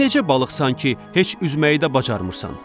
Sən necə balıqsan ki, heç üzməyi də bacarmırsan.